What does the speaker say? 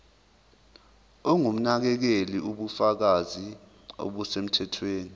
ongumnakekeli ubufakazi obusemthethweni